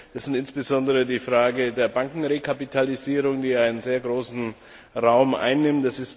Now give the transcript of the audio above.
Da ist insbesondere die Frage der Bankenrekapitalisierung, die einen sehr großen Raum einnimmt.